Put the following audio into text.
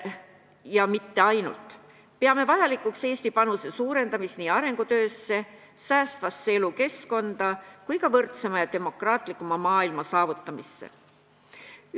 Ja mitte ainult, me peame vajalikuks suurendada Eesti panust arengukoostöösse, säästvasse elukeskkonda ning ka võrdsema ja demokraatlikuma maailma saavutamisse.